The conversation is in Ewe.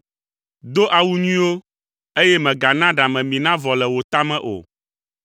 Do awu nyuiwo eye mègana ɖamemi navɔ le wò ta me o.